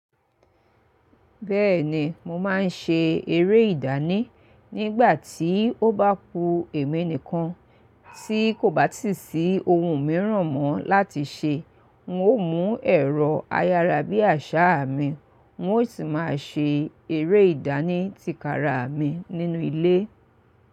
Bẹ́ẹ̀ni mo máa ń ṣe eré ìdánì. Nígbà tí ó bá ku èmi nìkan tí kò bá tì sí ohun mìíràn mọ́ láti ṣe, n ó mú ẹ̀rọ ayárabíàṣá mi, n ó sì máa ṣe eré ìdánì tìkára mi nínú ilé.